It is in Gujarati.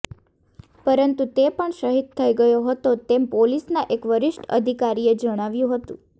પરંતુ તે પણ શહીદ થઇ ગયો હતો તેમ પોલીસના એક વરિષ્ઠ અધિકારીએ જણાવ્યું હતું